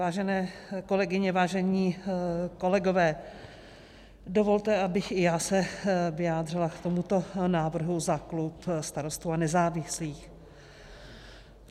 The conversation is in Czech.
Vážené kolegyně, vážení kolegové, dovolte, abych i já se vyjádřila k tomuto návrhu za klub Starostů a nezávislých.